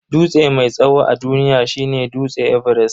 Dutse mai tsawo a duniya shine dutse everest.